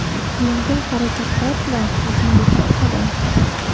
Yengil harakatlar bilan yuzingizni uqalang.